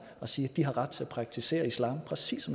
og sige de har ret til at praktisere islam præcis